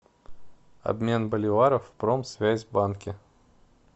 обмен боливаров в промсвязьбанке